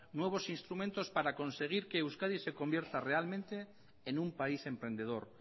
nuevos instrumentos para conseguir que euskadi se convierta realmente en un país emprendedor